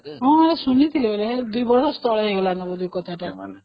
ହଁ ଶୁଣିଥିଲି ୨ ବର୍ଷ ତଳେ ହେଇଥିଲା ଏଇ କଥା